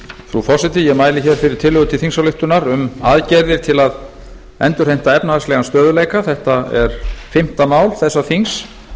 frú forseti ég mæli fyrir tillögu til þingsályktunar um aðgerðir til að endurheimta efnahagslegan stöðugleika þetta er fimmta mál þessa þings